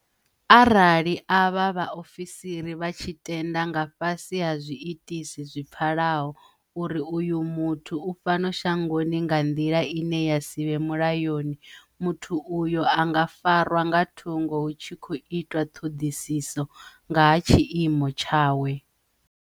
Arali avha vhaofisiri vha tshi tenda, nga fhasi ha zwiitisi zwi pfalaho, uri uyo muthu u fhano shangoni nga nḓila ine ya si vhe mulayoni, muthu uyo a nga farwa nga thungo hu tshi khou itwa thoḓisiso nga ha tshiimo tshawe.